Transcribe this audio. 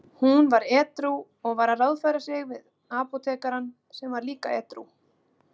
Hún var edrú og var að ráðfæra sig við apótekarann sem var líka edrú.